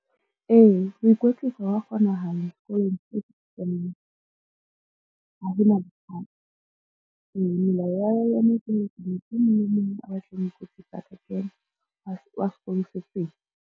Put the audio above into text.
Ee, ho ikwetlisa hwa kgonahala sekolong se ha ho na bothata. Melao ya motho e mong le e mong a batlang ho ikwetsisa a ka kena wa sekolo se seng.